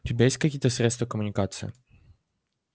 у тебя есть какие-то средства коммуникации